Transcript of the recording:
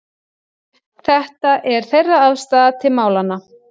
Þetta er þeirra afstaða til málanna